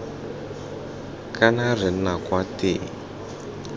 kana re nna kwa teng